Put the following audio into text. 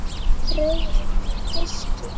Rauðvín með fiski?